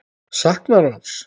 Saknarðu hans?